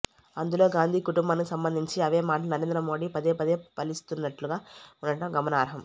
అందులో గాంధీ కుటుంబానికి సంబంధించి అవే మాటలను నరేంద్ర మోదీ పదేపదే వల్లిస్తున్నట్లుగా ఉండటం గమనార్హం